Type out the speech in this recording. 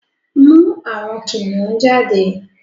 mú àwọn kìnìún jáde!